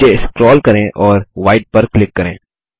नीचे स्क्रोल करें और व्हाइट पर क्लिक करें